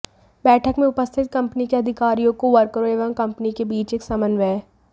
बैठक में उपस्थित कंपनी के अधिकारियों को वर्करों एवं कंपनी के बीच एक समन्वय